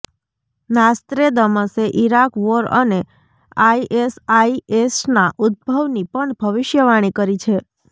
નાસ્ત્રેદમસે Iraq war અને આઇએસઆઇએસના ઉદ્ધભવની પણ ભવિષ્યવાણી કરી છે